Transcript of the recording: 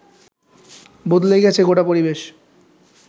বদলে গেছে গোটা পরিবেশ